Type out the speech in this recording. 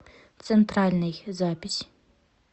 центральный запись